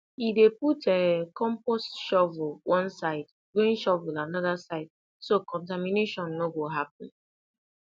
he dey put um compost shovel one side grain shovel another side so contamination no go happen